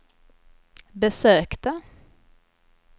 besökte